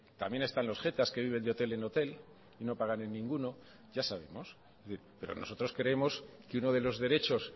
también están los jetas que viven de hotel en hotel y no pagan en ninguno ya sabemos pero nosotros creemos que uno de los derechos